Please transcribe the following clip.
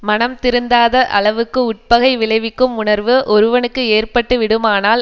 மனம் திருந்தாத அளவுக்கு உட்பகை விளைவிக்கும் உணர்வு ஒருவனுக்கு ஏற்பட்டுவிடுமானால்